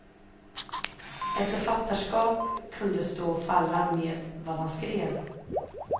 Ett författarskap kunde stå och falla med vad han skrev.